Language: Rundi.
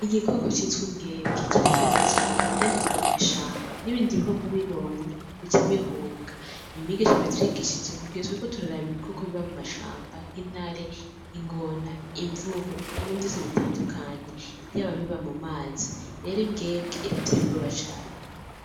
Igikoko c'itwa imbwembwe, kirakaze cane kandi k'iba mw'ishamba n'ibindi bikoko bibonye bica bihunga.ni mwigisha yabitwigishije mugihe twariko turaraba ibikoko biba mumashamba :nk'intare ,ingona, imvubu, ibintu vyose bitandukanye yaba ibiba mu mazi, rero imbwembwe irateye ubwoba cane.